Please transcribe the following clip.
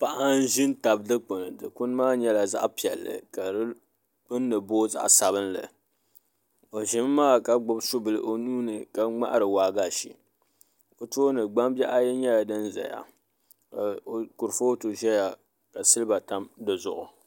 Paɣa n ʒi n tabi dikpun Dikpuni maa nyɛla zaɣ piɛlli ka di gbunni booi zaɣ sabinli o ʒimi maa ka gbubi su bili o nuuni ka ŋmahari waagashe o tooni gbambihi ayi nyɛla din ʒɛya ka kurifooti ʒɛya ka silba tam di zuɣu